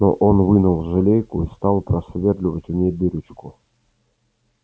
но он вынул жалейку и стал просверливать в ней дырочку